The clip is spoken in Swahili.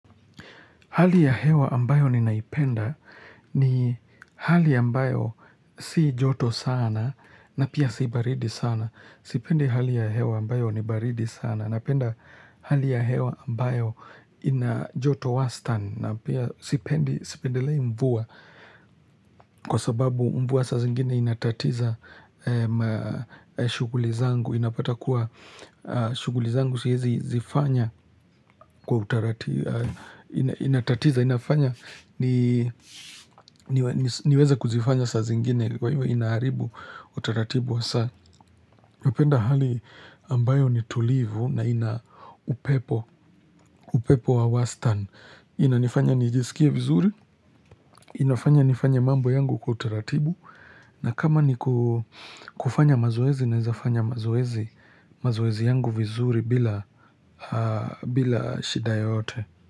Hali ya hewa ambayo ninaipenda ni hali ambayo si joto sana na pia si baridi sana. Sipendi hali ya hewa ambayo ni baridi sana napenda hali ya hewa ambayo ina joto wastani na pia sipendi, sipendelei mvua. Kwa sababu mvua saa zingine inatatiza shughuli zangu. Napata kuwa shughuli zangu siwezi zifanya kwa utaratibu, inatatiza, inafanya niweze kuzifanya saa zingine kwa hivyo inaharibu utaratibu wa saa. Napenda hali ambayo ni tulivu na ina upepo, upepo wa wastani. Inanifanya nijisikie vizuri inafanya nifanye mambo yangu kwa utaratibu. Na kama ni kufanya mazoezi naweza fanya mazoezi yangu vizuri bila shida yoyote.